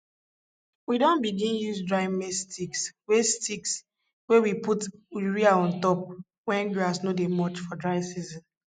we don begin use dry maize sticks wey sticks wey we put urea on top when grass no dey much for dry season